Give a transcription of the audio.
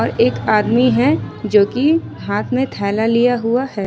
और एक आदमी है जोकि हाथ में थैला लिया हुआ है।